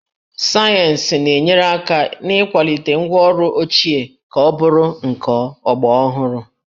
Sayensị na-enyere aka n'ịkwalite ngwaọrụ ochie ka ọ bụrụ nke ọgbaraọhụrụ